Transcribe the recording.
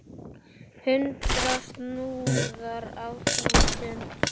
Hundrað snúðar á þúsund!